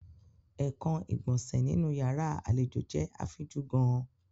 Ekan igbonse ninu yara alejo jẹ afinju gaan.